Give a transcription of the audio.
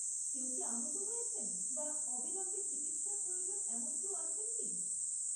কেউ কি আহত হয়েছেন বা অবিলম্বে চিকিৎসার প্রয়োজন এমন কেউ আছেন কি?